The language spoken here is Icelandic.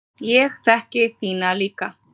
Ég þekki þína líka.